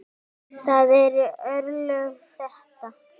Það eru örlög þetta!